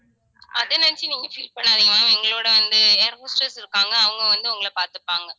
அதை நினைச்சு நீங்க feel பண்ணாதீங்க ma'am எங்களோட வந்து air hostess இருக்காங்க அவங்க வந்து உங்களை பார்த்துப்பாங்க